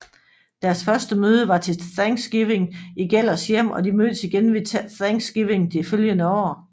Deres første møde var til Thanksgiving i Gellers hjem og de mødtes igen ved Thanksgiving det følgende år